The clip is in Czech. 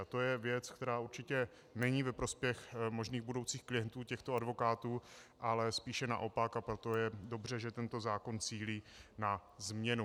A to je věc, která určitě není ve prospěch možných budoucích klientů těchto advokátů, ale spíše naopak, a proto je dobře, že tento zákon cílí na změnu.